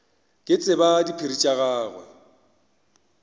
ke tsebe diphiri tša gagwe